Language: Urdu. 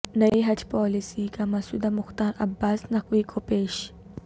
نئی حج پالیسی کا مسودہ مختار عباس نقوی کو پیش